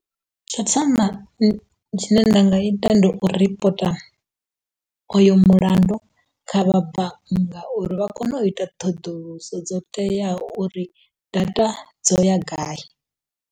Tsho thoma tshine nda nga ita ndi u ripota uyu mulandu kha vhabanngani uri vha kone u ita ṱhoḓuluso dzo teaho uri data dzo ya gai.